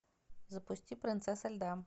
запусти принцесса льда